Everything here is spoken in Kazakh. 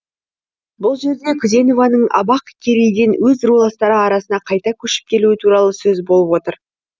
бұл жерде күзенованың абақкерейден өз руластары арасына қайта көшіп келуі туралы сөз болып отыр